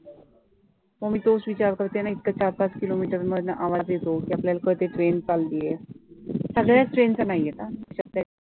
मग मी तोच विचार करते ना इतकं चार पाच किलो meter मधनं आवाज येतो, की आपल्याला कळते train चालली आहे, सगळ्याचं train चा नाही येतं हा